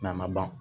Na ma ban